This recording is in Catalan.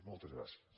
moltes gràcies